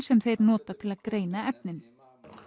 sem þeir nota til að greina efnin